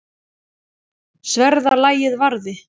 Sverða lagið varði.